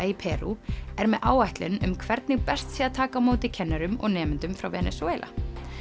í Perú er með áætlun um hvernig best sé að taka á móti kennurum og nemendum frá Venesúela